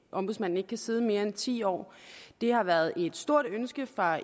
ombudsmanden ikke kan sidde mere end ti år det har været et stort ønske fra